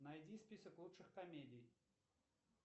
найди список лучших комедий